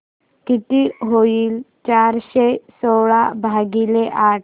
किती होईल चारशे सोळा भागीले आठ